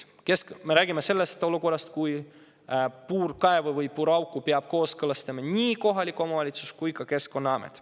Me räägime sellisest olukorrast, kus puurkaevu või puuraugu peab kooskõlastama nii kohalik omavalitsus kui ka Keskkonnaamet.